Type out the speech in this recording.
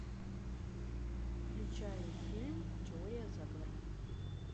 включай фильм теория заговора